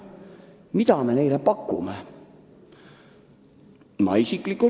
Mida me neile pakume?